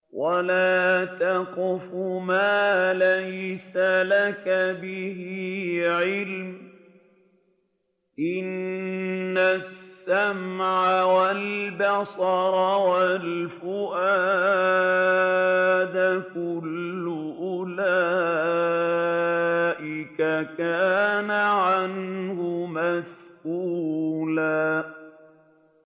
وَلَا تَقْفُ مَا لَيْسَ لَكَ بِهِ عِلْمٌ ۚ إِنَّ السَّمْعَ وَالْبَصَرَ وَالْفُؤَادَ كُلُّ أُولَٰئِكَ كَانَ عَنْهُ مَسْئُولًا